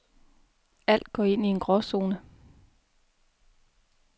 Alt går ind i en gråzone.